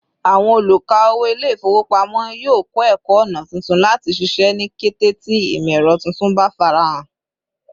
Àwọn oluka-owo Ilé-ifowopamo yio kọ ẹkọ ọna tuntun láti ṣiṣẹ́ ni kété tí imọ-ẹrọ tuntun bá farahan